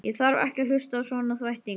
Ég þarf ekki að hlusta á svona þvætting!